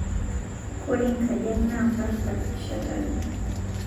Kore nkajang naa mparmpar eshatare